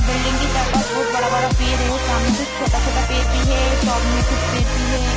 Building के चार पांच बहुत बड़ा-बड़ा पेड़ है सामने कुछ छोटा-छोटा पेड़ भी है टब मे कुछ पेड़ भी है।